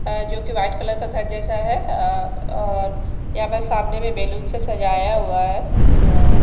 जो कि white colour का घर जैसा है अ और यहां पे सामने भी बैलून से सजाया हुआ है तो--